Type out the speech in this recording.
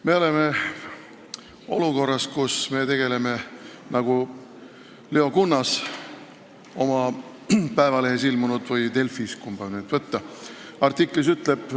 Me oleme olukorras, kus me oleme siin Riigikogus astunud, nagu Leo Kunnas oma Eesti Päevalehes või Delfis – kumba nüüd võtta?